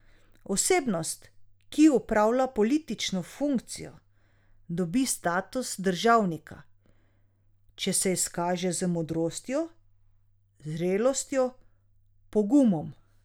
Osebnost, ki opravlja politično funkcijo, dobi status državnika, če se izkaže z modrostjo, zrelostjo, pogumom.